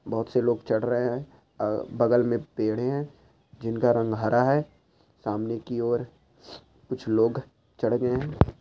बहोत से लोग चढ़ रहे है बगल मे पेड़े है जिनका रंग हरा है सामने की ओर कुछ लोग चढ़ गए है।